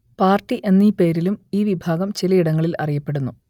party എന്നീ പേരിലും ഈ വിഭാഗം ചിലയിടങ്ങളിൽ അറിയപ്പെടുന്നു